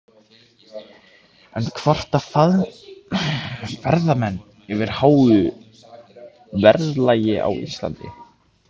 En kvarta ferðamenn yfir háu verðlagi á Íslandi?